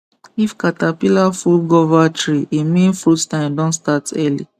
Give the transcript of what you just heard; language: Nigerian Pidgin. if caterpillar full guava tree e mean fruit time don start early